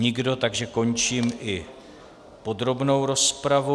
Nikdo, takže končím i podrobnou rozpravu.